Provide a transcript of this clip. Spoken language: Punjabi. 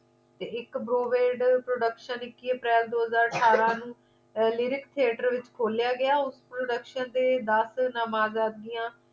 ਤੇ ਇੱਕ browade production ਇੱਕੀ ਅਪ੍ਰੈਲ ਦੋ ਹਜ਼ਾਰ ਅਠਾਰਾਂ ਨੂੰ lyrics theatre ਦੇ ਵਿਚ ਖੋਲ੍ਹਿਆ ਗਿਆ ਓਸ production ਦੇ ਦਸ ਨਾਮਜ਼ਦਗੀਆਂ